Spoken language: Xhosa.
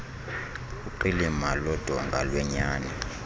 uqilima lodonga lwenyani